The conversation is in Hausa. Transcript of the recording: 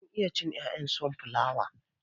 Eh mun iya cin 'ya'yan sonflawa.